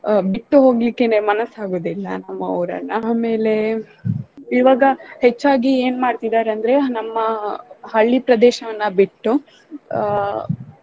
ಆ ಬಿಟ್ಟು ಹೋಗ್ಲಿಕ್ಕೆನೆ ಮನ್ನಸಾಗೋದಿಲ್ಲ ನಮ್ಮ ಊರನ್ನ ಆಮೇಲೆ ಇವಾಗ ಹೆಚ್ಚಾಗಿ ಏನ್ ಮಾಡ್ತಿದಾರಂದ್ರೆ ನಮ್ಮ ಹಳ್ಳಿ ಪ್ರದೇಶವನ್ನ ಬಿಟ್ಟು ಆ.